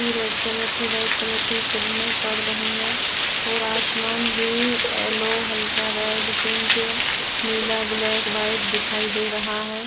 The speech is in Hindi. रेड कलर की व्हाइट कलर की किरणें पड़ रही है और आसमान भी एलो हल्का रेड पिंक नीला ब्लैक व्हाइट दिखाई दे रहा है।